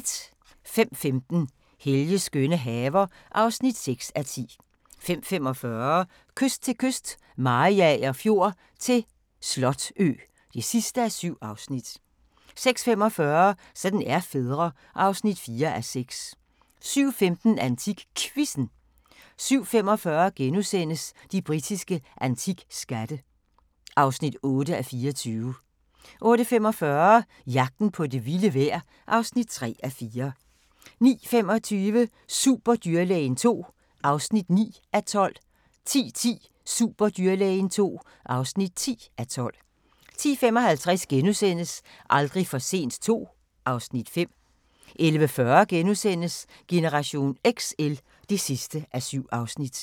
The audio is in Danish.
05:15: Helges skønne haver (6:10) 05:45: Kyst til kyst - Mariager Fjord til Slotø (7:7) 06:45: Sådan er fædre (4:6) 07:15: AntikQuizzen 07:45: De britiske antikskatte (8:24)* 08:45: Jagten på det vilde vejr (3:4) 09:25: Superdyrlægen II (9:12) 10:10: Superdyrlægen II (10:12) 10:55: Aldrig for sent II (Afs. 5)* 11:40: Generation XL (7:7)*